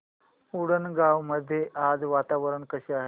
उंडणगांव मध्ये आज वातावरण कसे आहे